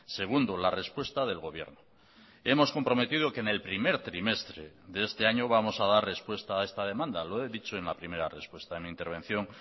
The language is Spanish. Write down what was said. segundo la respuesta del gobierno hemos comprometido que en el primer trimestre de este año vamos a dar respuesta a esta demanda lo he dicho en la primera respuesta en mi intervención